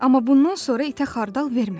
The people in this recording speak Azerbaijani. Amma bundan sonra itə xardal vermə.